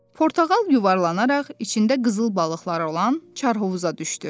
Portağal yuvarlanaraq içində qızıl balıqları olan Çarhovuza düşdü.